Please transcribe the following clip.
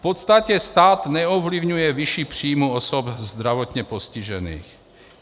V podstatě stát neovlivňuje výši příjmů osob zdravotně postižených.